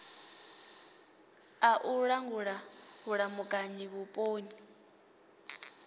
a u langula vhulamukanyi vhuponi